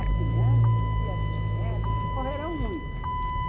As crianças, se as tiver, correrão muito.